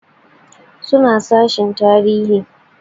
Suna sashen tarihi